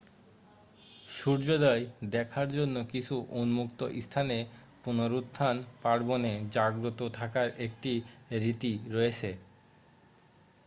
সূর্যোদয় দেখার জন্য কিছু উন্মুক্ত স্থানে পুনরুত্থান পার্বণে জাগ্রত থাকার একটি রীতি রয়েছে